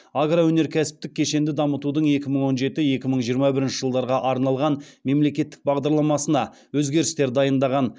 агроөнеркәсіптік кешенді дамытудың екі мың он жеті екі мың жиырма бірінші жылдарға арналған мемлекеттік бағдарламасына өзгерістер дайындаған